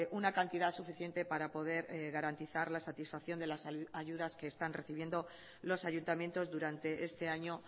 una cantidad suficiente para poder garantizar la satisfacción de las ayudas que están recibiendo los ayuntamientos durante este año